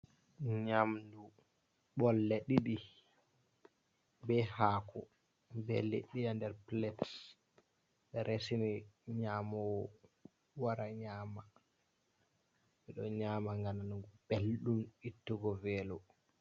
Nyamdu ɓolle ɗiɗi be hako, ɓe liɗɗi ha der pilet ɓe resini nyamowo wara nyama, ɓeɗo nyama gam nango belɗum, ittugo velo.